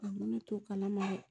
ne to kala ma dɛ